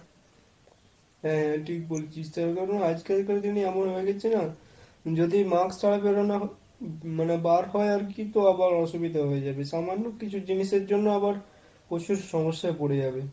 হ্যাঁ ঠিক বলেছিস। তার কারণ, আজকাল কার দিনে এমন হয়ে গেছে না, যদি mask ছাড়া বেরোনো মানে বার হয় আর কি তো আবার অসুবিধা হয়ে যাবে। সামান্য কিছু জিনিস এর জন্য আবার প্রচুর সমস্যা এ পরে যাবে।